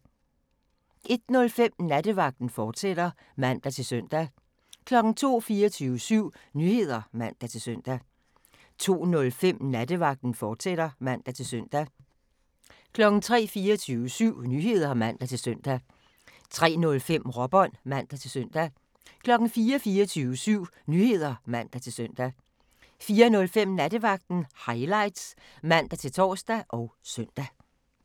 01:05: Nattevagten, fortsat (man-søn) 02:00: 24syv Nyheder (man-søn) 02:05: Nattevagten, fortsat (man-søn) 03:00: 24syv Nyheder (man-søn) 03:05: Råbånd (man-søn) 04:00: 24syv Nyheder (man-søn) 04:05: Nattevagten Highlights (man-tor og søn)